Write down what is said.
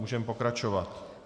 Můžeme pokračovat.